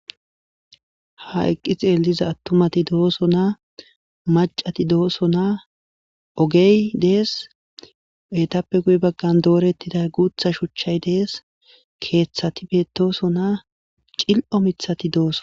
Ha eqqi xelliza attumati dosonna macati dosonna oogey dees eettappe guye baggan dooretida guuththa shuuchchay dees keeththati bettossonna cili'o miiththatti dosonna